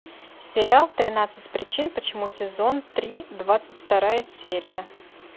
сериал тринадцать причин почему сезон три двадцать вторая серия